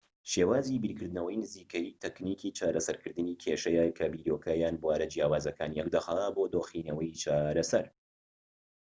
شێوازی بیرکردنەوەی نزیکەیی تەکنیکی چارەسەرکردنی کێشەیە کە بیرۆکە یان بوارە جیاوازەکان یەکدەخات بۆ دۆخینەوەی چارەسەر